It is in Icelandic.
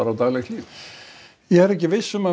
á daglegt líf ég er ekki viss um að